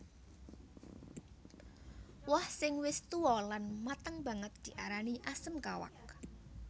Woh sing wis tuwa lan mateng banget diarani asem kawak